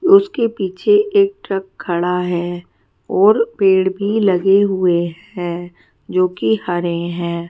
उसके पीछे एक ट्रक खड़ा है और पेड़ भी लगे हुए है जो की हरे है।